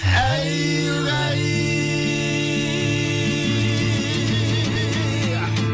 әй угай